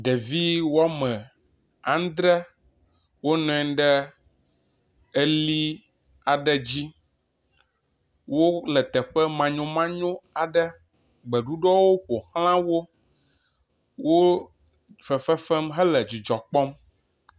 Ɖevi woame andre wo nɔanyi ɖe eli aɖe dzi. Wonɔ teƒe manyomanyo aɖe, gbeɖuɖɔwo ƒo xla wo. Woo fefe fem hele dzidzɔ kpɔm.